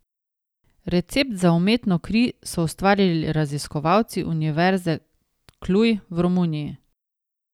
Recept za umetno kri so ustvarili raziskovalci Univerze Cluj v Romuniji.